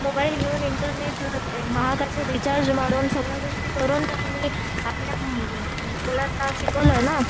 mobile घेऊन, internet महागाचे recharge मारून सगळ्या गोष्टी करून त्यांनी आपल्या मुलांना शिकवलंय ना